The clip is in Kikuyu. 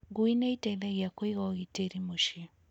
Ngui nĩ ĩteithagia kũiga ũgitĩri mũciĩ.